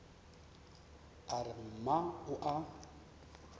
a re mma o a